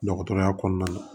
Dɔgɔtɔrɔya kɔnɔna na